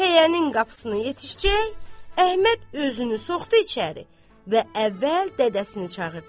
Pəyənin qapısına yetişcək, Əhməd özünü soxdı içəri və əvvəl dədəsini çağırdı.